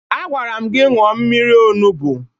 Agwara m gị ṅụọ mmiri onubu!